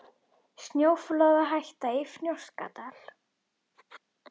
Snjóflóðahætta í Fnjóskadal